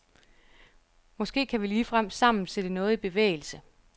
Måske kan vi ligefrem sammen sætte noget i bevægelse?